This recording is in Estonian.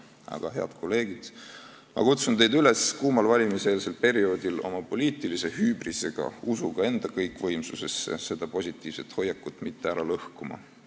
Aga, head kolleegid, ma kutsun teid üles kuumal valimiseelsel perioodil oma poliitilise hübrisega, usuga enda kõikvõimsusesse, seda positiivset hoiakut mitte ära lõhkuma.